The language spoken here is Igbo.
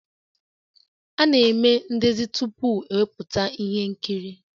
A na-eme ndezi tupu ewepụta ihe nkiri